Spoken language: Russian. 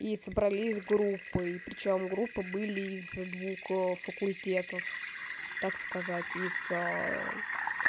и собрались группы и причём группы были из двух факультетов так сказать из